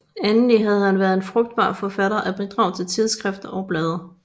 Endelig har han været en frugtbar forfatter af bidrag til tidsskrifter og blade